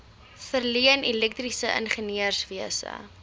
verleen elektriese ingenieurswese